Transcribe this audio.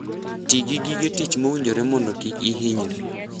Ti gi gige tich mowinjore mondo kik ihinyri.